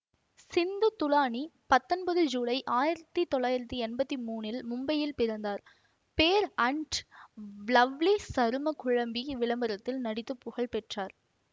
சிந்து துலானி பத்தொன்பது ஜூலை ஆயிரத்தி தொள்ளாயிரத்தி எம்பத்தி மூன்றில் மும்பையில் பிறந்தார் பேர் அன்ட் லவ்லி சரும குழம்பி விளம்பரத்தில் நடித்து புகழ்பெற்றார்